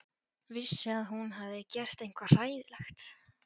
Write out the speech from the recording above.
Vissi að hún hafði gert eitthvað hræðilegt.